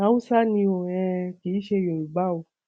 haúsá ni o um kì í ṣe yorùbá o